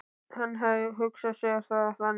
Hann hafði hugsað sér það þannig.